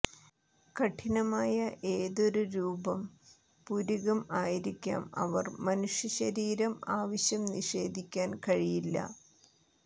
കഠിനമായ ഏതൊരു രൂപം പുരികം ആയിരിക്കാം അവർ മനുഷ്യ ശരീരം ആവശ്യം നിഷേധിക്കാൻ കഴിയില്ല